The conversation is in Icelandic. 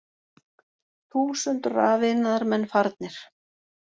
Þúsund rafiðnaðarmenn farnir